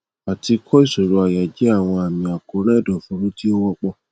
àti ìkọ ìṣòro àyà jẹ àwọn àmì àkóràn ẹdọfóró tí ó wọpọ